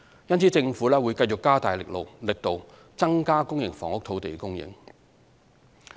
因此，政府會繼續加大力度，增加公營房屋土地供應。